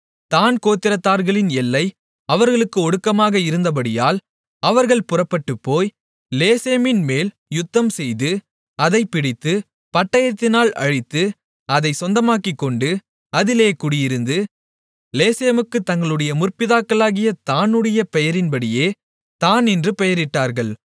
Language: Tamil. தாண் கோத்திரத்தார்களின் எல்லை அவர்களுக்கு ஒடுக்கமாக இருந்தபடியால் அவர்கள் புறப்பட்டுப்போய் லேசேமின்மேல் யுத்தம்செய்து அதைப் பிடித்து பட்டயத்தினால் அழித்து அதைச் சொந்தமாக்கிக்கொண்டு அதிலே குடியிருந்து லேசேமுக்குத் தங்களுடைய முற்பிதாவாகிய தாணுடைய பெயரின்படியே தாண் என்று பேரிட்டார்கள்